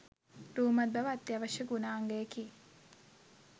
රූමත් බව අත්‍යවශ්‍ය ගුණාංගයකි.